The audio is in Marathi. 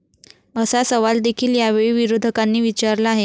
असा सवाल देखील यावेळी विरोधकांनी विचारला आहे.